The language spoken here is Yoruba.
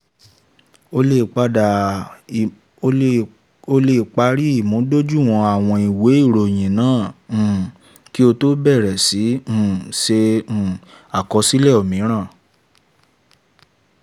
ó lè parí ìmúdójúìwọ̀n àwọn ìwé ìròyìn náà um kí ó tó bẹ̀rẹ̀ sí um ṣe um àkọsílẹ̀ òmíràn.